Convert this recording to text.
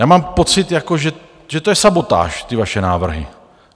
Já mám pocit, že to je sabotáž, ty vaše návrhy!